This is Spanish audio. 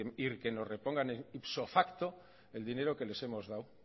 y que nos repongan ipso facto el dinero que les hemos dado